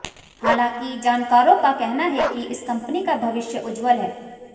हालांकि जानकारों का कहना है कि इस कंपनी का भविष्य उज्ज्वल है